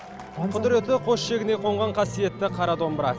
құдіреті қос шегіне қонған қасиетті қара домбыра